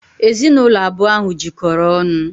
Ezinụlọ abụọ ahụ jikọrọ ọnụ.